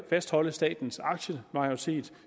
fastholde statens aktiemajoritet